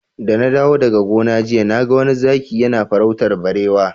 Da na dawo daga gona jiya na ga wani zaki yana farautar barewa.